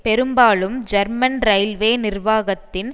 பெரும்பாலும் German railway நிர்வாகத்தின்